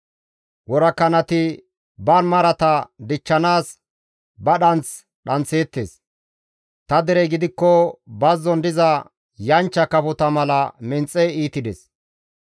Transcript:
Worakanati ba marata dichchanaas ba dhanth dhanththeettes; ta derey gidikko bazzon diza yanchcha kafota mala menxe iitides.